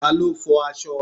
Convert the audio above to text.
Ta ló fo aṣọ?